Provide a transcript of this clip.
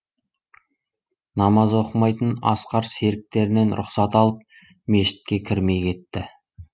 намаз оқымайтын асқар серіктерінен рұқсат алып мешітке кірмей кетті